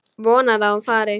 Vonar að hún fari.